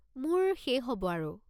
মোৰ শেষ হ'ব আৰু।